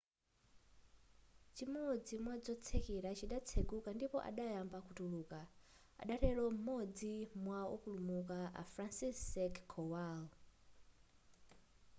chimodzi mwadzotsekera chidatsekuka ndipo adayamba kutuluka adatero m'modzi mwa wopulumuka a franciszek kowal